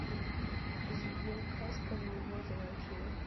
сбер казка ноубоди лайк ю